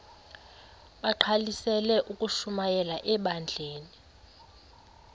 bagqalisele ukushumayela ebandleni